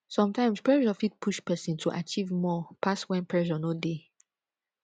sometimes pressure fit push person to achive more pass when pressure no dey